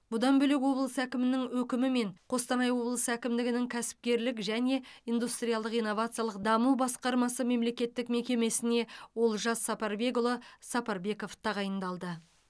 бұдан бөлек облыс әкімінің өкімімен қостанай облысы әкімдігінің кәсіпкерлік және индустриалдық инновациялық даму басқармасы мемлекеттік мекемесіне олжас сапарбекұлы сапарбеков тағайындалды